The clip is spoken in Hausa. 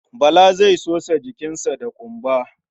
Bala zai sosa jikinsa da ƙumba.